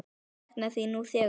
Ég sakna þín nú þegar.